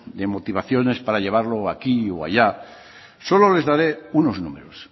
de motivaciones para llevarlo aquí o allá solo les daré unos números